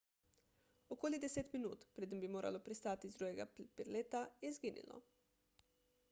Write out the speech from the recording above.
okoli deset minut preden bi moralo pristati iz drugega prileta je izginilo